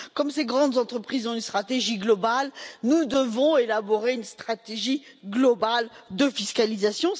Comme ces grandes entreprises ont une stratégie globale, nous devons élaborer une stratégie globale de fiscalisation.